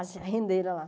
As rendeira lá.